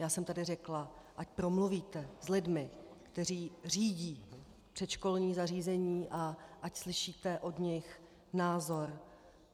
Já jsem tady řekla, ať promluvíte s lidmi, kteří řídí předškolní zařízení, a ať slyšíte od nich názor.